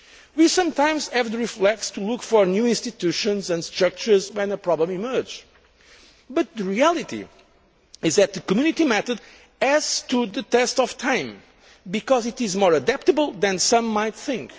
We sometimes have the reflex to look for new institutions and structures when a problem emerges, but the reality is the Community method has stood the test of time because it is more adaptable than some might think.